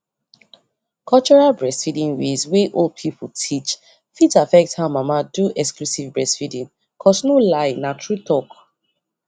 cultural breastfeeding ways wey old people teach fit affect how mama do exclusive breastfeeding cos no lie na true talk